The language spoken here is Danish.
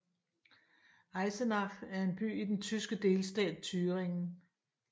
Eisenach er en by i den tyske delstat Thüringen